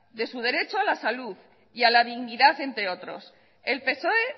de su derecho a la salud y a la dignidad entre otros el psoe